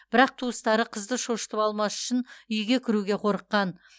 бірақ туыстары қызды шошытып алмас үшін үйге кіруге қорыққан